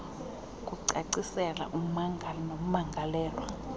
kucacisela ummangali nommangalelwa